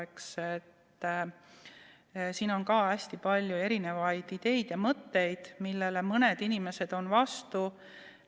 Ka selle kohta on hästi palju erisuguseid ideid, millele mõned inimesed on vastu.